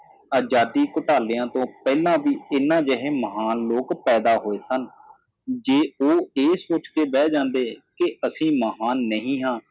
ਆਜ਼ਾਦੀ ਘੋਟਾਲਿਆਂ ਤੋ ਪਹਿਲਾਂ ਵੀ ਇਹਨਾਂ ਜਿਹੇ ਮਹਾਨ ਲੋਕ ਪੈਦਾ ਹੋਏ ਸਨ ਜੇ ਓਹ ਏਹ ਸੋਚ ਕੇ ਬਹਿ ਜਾਂਦੇ ਕਿ ਅਸੀ ਮਹਾਨ ਨਹੀ ਹਾਂ